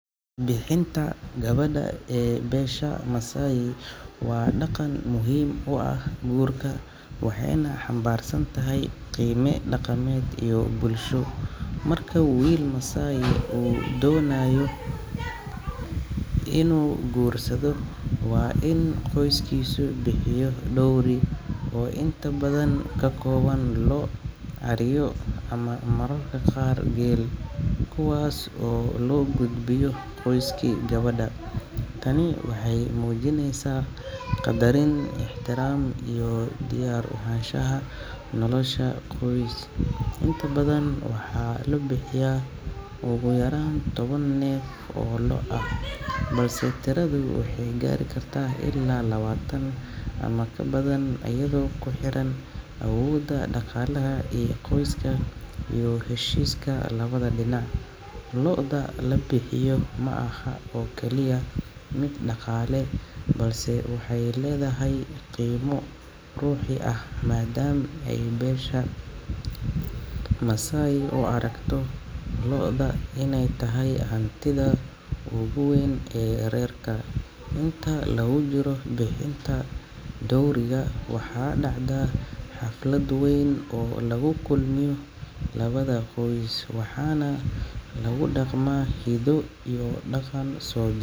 Bixin-ta gabadha ee beesha Maasai waa dhaqan muhiim u ah guurka waxayna xambaarsan tahay qiime dhaqameed iyo bulsho. Marka wiil Maasai uu doonayo inuu guursado, waa in qoyskiisu bixiyo dowry oo inta badan ka kooban lo’, ariyo ama mararka qaar geel, kuwaas oo loo gudbiyo qoyskii gabadha. Tani waxay muujinaysaa qadarin, ixtiraam iyo diyaar u ahaanshaha nolosha qoys. Inta badan, waxaa la bixiyaa ugu yaraan toban neef oo lo’ ah, balse tiradu waxay gaari kartaa ilaa labaatan ama ka badan iyadoo ku xiran awoodda dhaqaalaha ee qoyska iyo heshiiska labada dhinac. Lo’da la bixiyo ma aha oo kaliya mid dhaqaale, balse waxay leedahay qiimo ruuxi ah maadaama ay beesha Maasai u aragto lo’da inay tahay hantida ugu weyn ee reerka. Inta lagu jiro bixin-ta dowry-ga, waxaa dhacda xaflad weyn oo lagu kulmiyo labada qoys, waxaana lagu dhaqmaa hiddo iyo dhaqan soo.